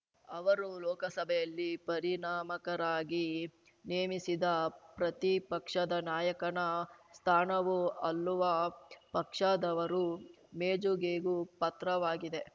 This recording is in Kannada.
ಅವರು ಲೋಕಸಭೆಯಲ್ಲಿ ಪರಿಣಾಮಕರಾಗಿ ನೇಮಿಸಿದ ಪ್ರತಿಪಕ್ಷದ ನಾಯಕನ ಸ್ಥಾನವು ಅಲ್ಲುವ ಪಕ್ಷದವರ ಮೇಜುಗೆಗೂ ಪತ್ರವಾಗಿದೆ